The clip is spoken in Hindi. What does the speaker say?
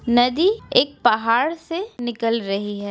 नदी एक पहाड़ से निकल रही है।